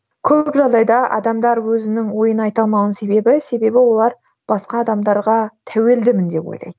көп жағдайда адамдар өзінің ойын айта алмауының себебі себебі олар басқа адамдарға тәуелдімін деп ойлайды